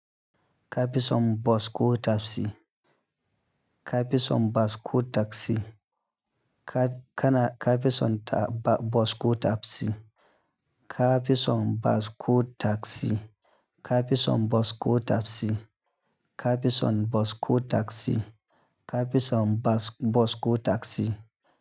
Capison Bosco Tapsi, Capison Bosco Taxi, Ca-cana Capison Ta Ba-Bosco Tapsi, Capison Bosco Taxi, Capison Bosco Tapsi, Capison Bosco Taxi, Capison Bas-Bosco Taxi.